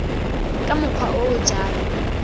ka mokgwa o o jalo